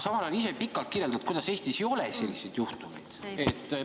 Samal ajal sa ise pikalt kirjeldad, kuidas Eestis selliseid juhtumeid ei ole.